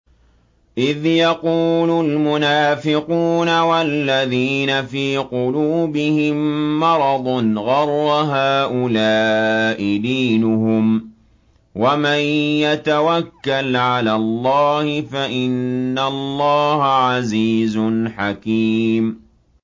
إِذْ يَقُولُ الْمُنَافِقُونَ وَالَّذِينَ فِي قُلُوبِهِم مَّرَضٌ غَرَّ هَٰؤُلَاءِ دِينُهُمْ ۗ وَمَن يَتَوَكَّلْ عَلَى اللَّهِ فَإِنَّ اللَّهَ عَزِيزٌ حَكِيمٌ